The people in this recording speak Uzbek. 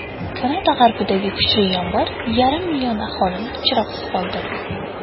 Kanada g‘arbidagi kuchli yomg‘ir yarim million aholini chiroqsiz qoldirdi.